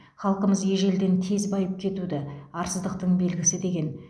халқымыз ежелден тез байып кетуді арсыздықтың белгісі деген